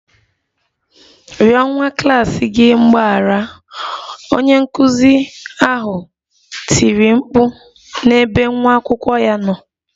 Rịọ nwa klas gị mgbaghara! Onye nkụzi ahụ tiri mkpu n'ebe nwa akwụkwọ ya nọ